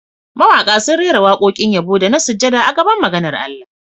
Mawaƙa sun rera waƙoƙin yabo da na sujada a gaban maganar Allah